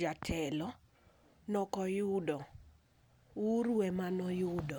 jatelo ne ok oyudo. Uhuru emane oyudo.